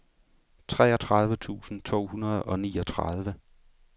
treogtredive tusind to hundrede og niogtredive